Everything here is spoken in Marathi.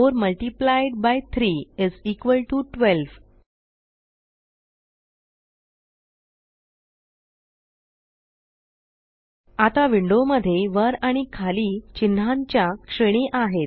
4 multiplied by 3 is equal to 12 आता विंडो मध्ये वर आणि खाली चिन्हांच्या श्रेणी आहेत